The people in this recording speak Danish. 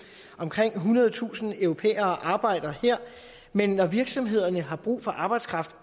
omkring ethundredetusind europæere arbejder her men når virksomhederne har brug for arbejdskraft